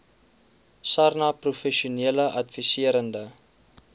sarnap professionele adviserende